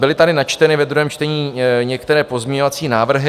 Byly tady načteny ve druhém čtení některé pozměňovací návrhy.